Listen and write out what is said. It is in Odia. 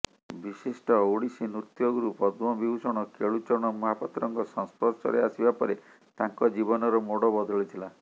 ବିଶିଷ୍ଟ ଓଡ଼ିଶୀ ନୃତ୍ୟଗୁରୁ ପଦ୍ମବିଭୂଷଣ କେଳୁଚରଣ ମହାପାତ୍ରଙ୍କ ସଂସ୍ପର୍ଶରେ ଆସିବା ପରେ ତାଙ୍କ ଜୀବନର ମୋଡ଼ ବଦଳିଥିଲା